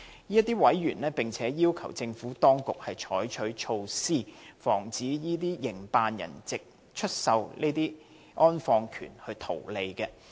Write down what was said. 這些委員並要求政府當局採取措施，防止這些營辦人藉出售安放權圖利。